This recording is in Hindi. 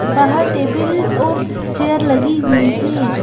बाहर टेबिल और चेयर लगी हुई है।